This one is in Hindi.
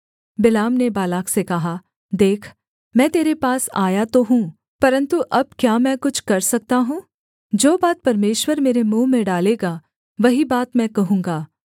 बिलाम ने बालाक से कहा देख मैं तेरे पास आया तो हूँ परन्तु अब क्या मैं कुछ कर सकता हूँ जो बात परमेश्वर मेरे मुँह में डालेगा वही बात मैं कहूँगा